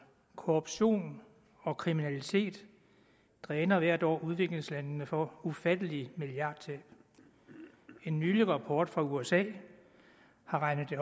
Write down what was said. korruption og kriminalitet dræner hvert år udviklingslandene for ufattelige milliardbeløb en ny rapport fra usa har regnet det